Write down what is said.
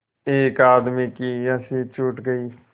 एक आदमी की हँसी छूट गई